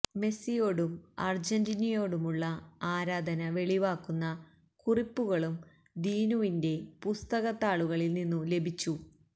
മെസിയോടും അർജന്റീനയോടുമുള്ള ആരാധന വെളിവാക്കുന്ന കുറിപ്പുകളും ദീനുവിന്റെ പുസ്തകത്താളുകളിൽ നിന്നു ലഭിച്ചു